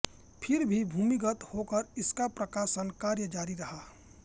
फिर भी भूमिगत होकर इनका प्रकाशन कार्य जारी रहा